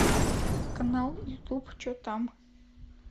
канал ютуб че там